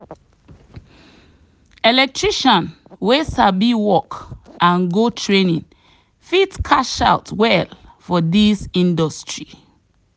electrician wey sabi work and go training fit cash out well for this industry.